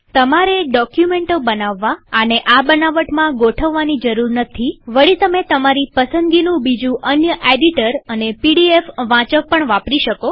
તમારે ડોકયુમેન્ટો બનાવવા આને આ બનાવટમાં ગોઠવવાની જરૂર નથીવળીતમે તમારી પસંદગીનું બીજું અન્ય એડિટર અને પીડીએફ રીડર પણ વાપરી શકો